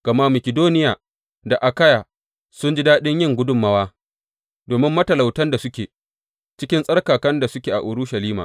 Gama Makidoniya da Akayya sun ji daɗin yin gudummawa domin matalautan da suke cikin tsarkakan da suke a Urushalima.